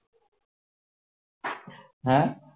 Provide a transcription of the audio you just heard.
হ্যাঁ